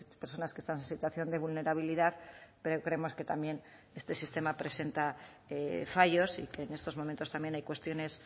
personas que están en situación de vulnerabilidad pero creemos que también este sistema presenta fallos y que en estos momentos también hay cuestiones